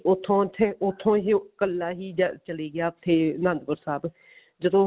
ਉੱਥੋਂ ਉੱਥੇ ਉੱਥੋਂ ਹੀ ਉਹ ਕੱਲਾ ਚਲਾ ਗਿਆ ਉੱਥੇ ਆਨੰਦਪੁਰ ਸਾਹਿਬ ਜਦੋਂ